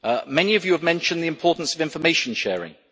Many of you have mentioned the importance of information sharing.